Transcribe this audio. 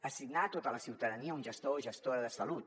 assignar a tota la ciutadania un gestor o gestora de salut